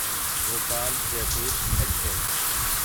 Bhopal Jaipur express